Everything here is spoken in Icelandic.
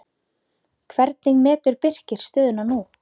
Hvernig metur Birkir stöðuna nú?